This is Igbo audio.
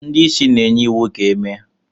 ndị isi na-enye iwu ka e mee